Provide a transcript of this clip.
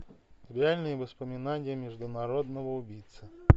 реальные воспоминания международного убийцы